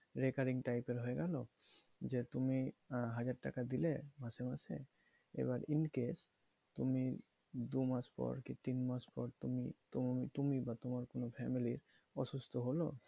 breakering type এর হয়ে গেলো যে তুমি আহ হাজার টাকা দিলে মাসে মাসে এবার in case তুমি দু মাস পর কি তিন মাস পর তুমি তোমার, তুমি বা তোমার কোনো family র অসুস্থ হলো,